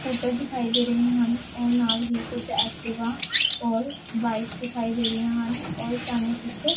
scooter ਦਿਖਾਈ ਦੇ ਰਹੇ ਹਨ ਔਰ ਨਾਲ ਹੀ ਕੁਜ ਐਕਟਿਵਾ ਔਰ ਬਾਈਕ ਦਿਖਾਈ ਦੇ ਰਹੀ ਹਨ ਔਰ ਸਾਨੂੰ ਇੱਕ --